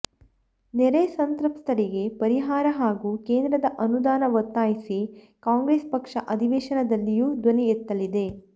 ನೆರೆ ಸಂತ್ರಸ್ತರಿಗೆ ಪರಿಹಾರ ಹಾಗೂ ಕೇಂದ್ರದ ಅನುದಾನ ಒತ್ತಾಯಿಸಿ ಕಾಂಗ್ರೆಸ್ ಪಕ್ಷ ಅಧಿವೇಶನದಲ್ಲಿಯೂ ಧ್ವನಿ ಎತ್ತಲಿದೆ